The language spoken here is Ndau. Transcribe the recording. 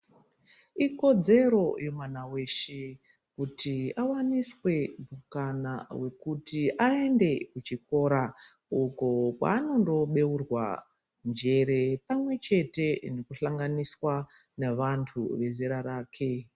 Ikodzero yemwana weshe kuti awaniswe mukana wekuti aende kuchikora uko kwaanondobeurwa njere pamwechete nekuhlanganiswa navantu vezera rake.